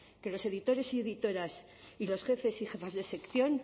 que los editores y editoras y los jefes y jefas de sección